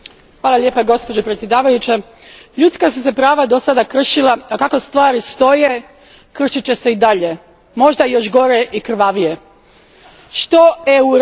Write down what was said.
Gospođo predsjedavajuća, ljudska su se prava dosada kršila, a kako stvari stoje kršit će se i dalje, možda još gore i krvavije. Što EU radi?